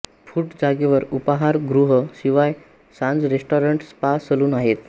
foot जागेवर उपहार ग्रह शिवाय सांज रेस्टारंट स्पा सलुन आहेत